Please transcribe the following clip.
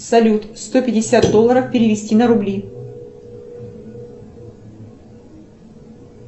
салют сто пятьдесят долларов перевести на рубли